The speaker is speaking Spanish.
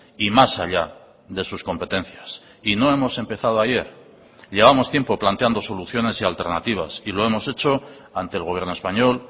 y más allá de sus competencias y no hemos empezado ayer llevamos tiempo planteando soluciones y alternativas y lo hemos hecho ante el gobierno español